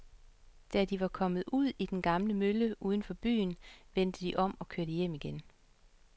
Da de var kommet ud til den gamle mølle uden for byen, vendte de om og kørte hjem igen.